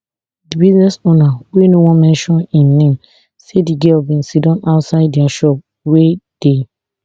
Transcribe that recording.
di business owner wey no want mention im name say di girl bin sidon outside dia shop wey dey